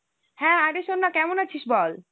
হ্যাঁ, আরে শোননা কেমন আছিস বল?